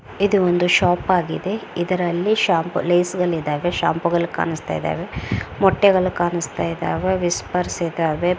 ಇದು ಒಂದು ಶೋಪ್ ಆಗಿದೆ ಇದರಲ್ಲಿ ಶಾಂಪೂ ಲೇಸ್ಗಳಿದಾವೆ ಶಾಂಪೂಗಳು ಕಾಣಿಸ್ತಾ ಇದ್ದಾವೆ ಮೊಟ್ಟೆಗಳು ಕಾಣಿಸ್ತಾ ಇದ್ದಾವೆ ವಿಸ್ಪರ್ಸ್ ಇದ್ದಾವೆ.